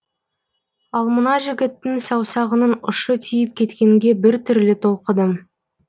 ал мына жігіттің саусағының ұшы тиіп кеткенге біртүрлі толқыдым